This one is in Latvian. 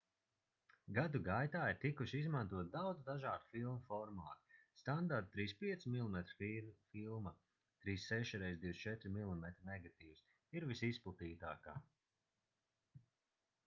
gadu gaitā ir tikuši izmantoti daudz dažādu filmu formāti. standarta 35 mm filma 36 x 24 mm negatīvs ir visizplatītākā